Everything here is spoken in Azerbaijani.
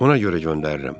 Ona görə göndərirəm.